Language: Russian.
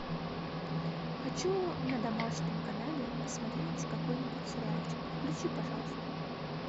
хочу на домашнем канале посмотреть какой нибудь сериальчик включи пожалуйста